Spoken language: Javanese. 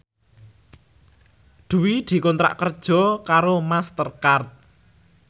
Dwi dikontrak kerja karo Master Card